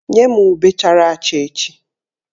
Nye m ube chara acha echi!